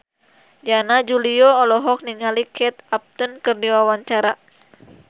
Yana Julio olohok ningali Kate Upton keur diwawancara